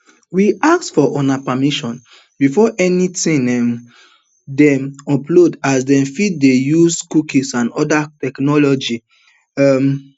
we ask for una permission before anytin um dey loaded as dem fit dey use cookies and oda technologies um